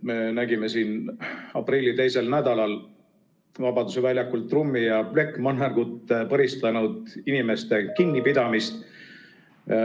Me nägime aprilli teisel nädalal Vabaduse väljakul trummi ja plekkmannergut põristanud inimeste kinnipidamist.